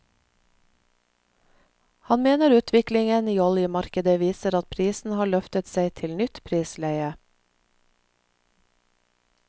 Han mener utviklingen i oljemarkedet viser at prisen har løftet seg til nytt prisleie.